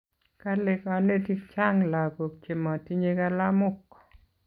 kale kanetik chang lakok che matinye kalamok